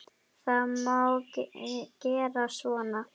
Það má gera svona